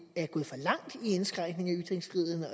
er gået for langt i indskrænkningen